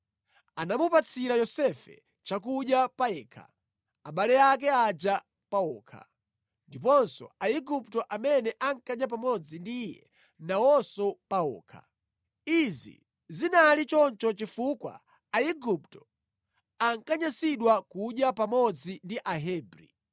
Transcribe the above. Anamupatsira Yosefe chakudya payekha, abale ake aja pawokha, ndiponso Aigupto amene ankadya pamodzi ndi iye nawonso pawokha. Izi zinali choncho chifukwa Aigupto ankanyansidwa kudya pamodzi ndi Ahebri.